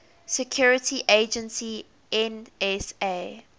security agency nsa